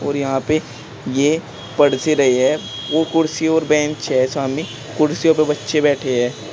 और यहां पे ये पढसे रहे है वो कुर्सी और बेंच है सामने कुर्सियों पे बच्चे बैठे हैं।